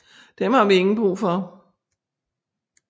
Dem har vi ingen Brug for